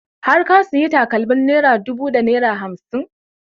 Har ka sayi takalmar naira ɗubu da naira hamsin?